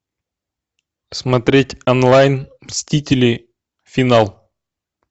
смотреть онлайн мстители финал